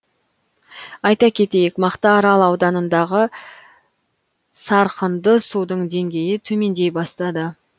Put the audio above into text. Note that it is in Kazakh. айта кетейік мақтаарал ауданындағы сарқынды судың деңгейі төмендей бастады